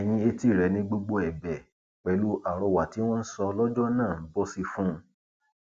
ẹyìn etí rẹ ni gbogbo ẹbẹ pẹlú àrọwà tí wọn ń sọ lọjọ náà ń bọ sí fún un